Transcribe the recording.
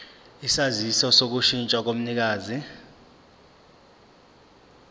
isaziso sokushintsha komnikazi